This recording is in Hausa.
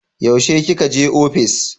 Yaushe ki ka je ofis?